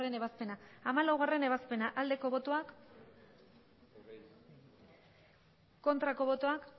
ebazpena hamalaugarrena ebazpena aldeko botoak aurkako botoak